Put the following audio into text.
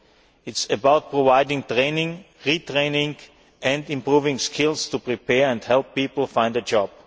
It is about providing training and retraining and improving skills to prepare people and help them find a job.